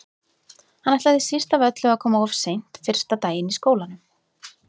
Hann ætlaði síst af öllu að koma of seint fyrsta daginn í skólanum.